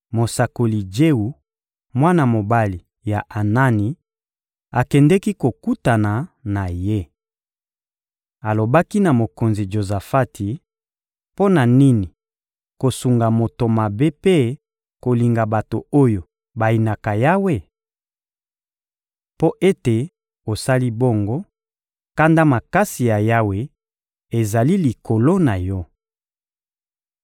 mosakoli Jewu, mwana mobali ya Anani, akendeki kokutana na ye. Alobaki na mokonzi Jozafati: «Mpo na nini kosunga moto mabe mpe kolinga bato oyo bayinaka Yawe? Mpo ete osali bongo, kanda makasi ya Yawe ezali likolo na yo.